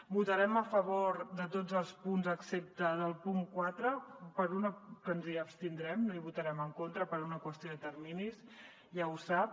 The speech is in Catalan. votarem a favor de tots els punts excepte del punt quatre que ens hi abstindrem i hi votarem en contra per una qüestió de terminis ja ho sap